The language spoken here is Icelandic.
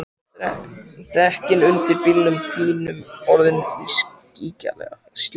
Eru dekkin undir bílnum þínum orðin ískyggilega slétt?